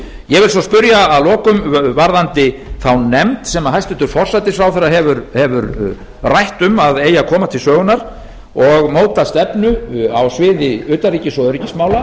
ég vil svo spyrja að lokum varðandi þá nefnd sem hæstvirtur forsætisráðherra hefur rætt um að eigi að koma til sögunnar og móta stefnu á sviði utanríkis og öryggismála